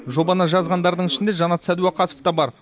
жобаны жазғандардың ішінде жанат сәдуақасов та бар